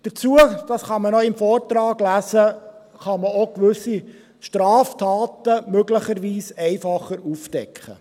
Dazu – dies kann man ebenfalls im Vortrag lesen – kann man auch gewisse Straftaten möglicherweise einfacher aufdecken.